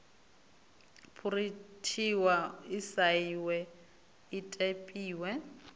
phurinthiwa i sainwe i ṱempiwe